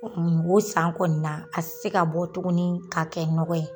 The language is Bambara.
O kɔni o san kɔ na a ti se ka bɔ tuguni ka kɛ nɔgɔ ye.